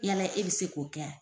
Yala e bɛ se k'o kɛ wa?